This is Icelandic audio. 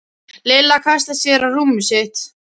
Lilla kastaði sér á rúmið sitt.